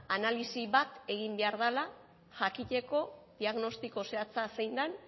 analisi bat egin behar dela jakiteko diagnostiko zehatza zein den